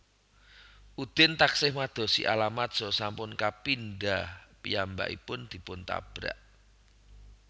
Udin taksih madosi alamat saha sampun kapindha piyambakipun dipun tabrak